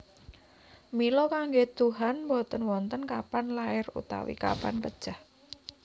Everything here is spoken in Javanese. Mila kanggé tuhan boten wonten kapan lair utawi kapan pejah